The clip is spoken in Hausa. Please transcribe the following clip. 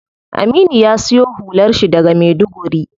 Aminu ya siyo hular shi daga maiduguri.